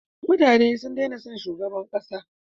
Mutane sun dena son shugaban kasa